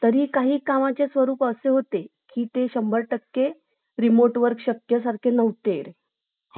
तरी काही कामाचे स्वरूप असे होते की ते शंबर टाके रिमोट वर शक्य सारखे नव्हते